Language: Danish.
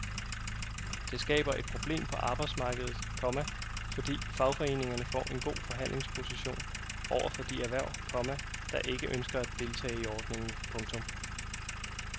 Det skaber et problem på arbejdsmarkedet, komma fordi fagforeningerne får en god forhandlingsposition over for de erhverv, komma der ikke ønsker at deltage i ordningen. punktum